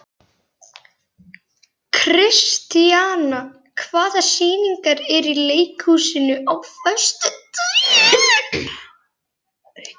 Kristíanna, hvaða sýningar eru í leikhúsinu á föstudaginn?